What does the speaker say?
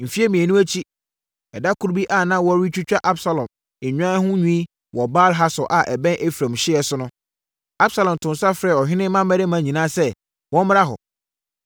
Mfeɛ mmienu akyi, ɛda koro bi a na wɔretwitwa Absalom nnwan ho nwi wɔ Baal-Hasor a ɛbɛn Efraim hyeɛ so no, Absalom too nsa frɛɛ ɔhene mmammarima nyinaa sɛ wɔmmra hɔ.